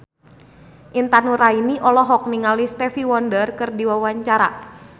Intan Nuraini olohok ningali Stevie Wonder keur diwawancara